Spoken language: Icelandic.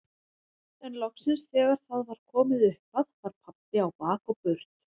En loksins þegar það var komið upp að var pabbi á bak og burt.